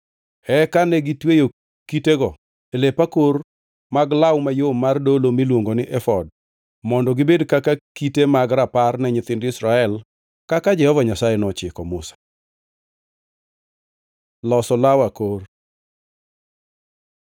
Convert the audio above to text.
Eka negitweyo kitego e lep akor mag law mayom mar dolo miluongo ni efod mondo gibed kaka kite mag rapar ne nyithind Israel kaka Jehova Nyasaye nochiko Musa. Loso law akor